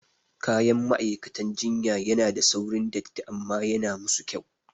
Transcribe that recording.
Kayan ma'aikatan jinya yana da saurin datti amma yana musu kyau